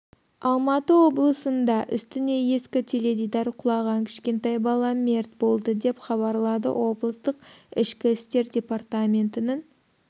алматы облысында үстіне ескі теледидар құлаған кішкентай бала мерт болды деп хабарлады облыстық ішкі істер департаментінің